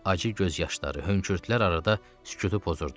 Acı göz yaşları, hönkürtülər arada sükutu pozurdu.